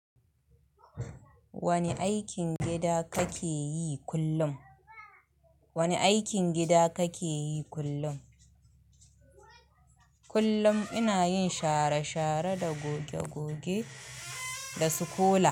Wani aikin gida kake yi kullum? Wani aikin gida kake yi kullum? Kullum ina yin share-share da goge-goge da kola.